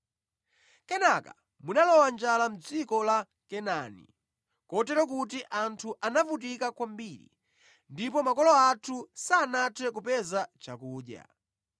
“Kenaka munalowa njala mʼdziko la Kanaani, kotero kuti anthu anavutika kwambiri, ndipo makolo athu sanathe kupeza chakudya.